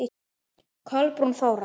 Kolbrún Þóra.